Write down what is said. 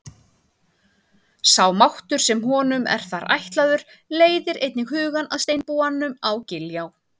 Sá máttur sem honum er þar ætlaður leiðir einnig hugann að steinbúanum á Giljá.